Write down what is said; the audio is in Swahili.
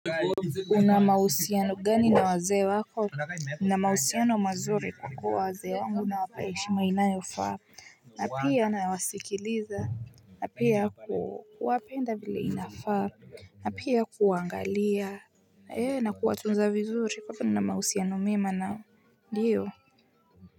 Una mausiano gani na wazee wako. Nina mahusiano mazuri kwa kuwa wazee wangu nawapa heshima inayofaa. Na pia nawasikiliza. Na pia kuwapenda vile inafaa. Na pia kuwaangalia. Na kuwatunza vizuri, kwa kuwa na mahusiano mema nao ndio.